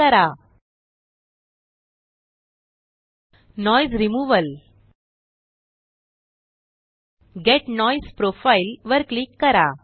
noise removal noise removal get noise profile get noise profile वर click करा